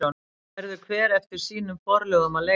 Verður hver eftir sínum forlögum að leita.